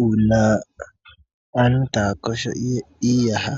Uuna aantu taya kosho iiyaha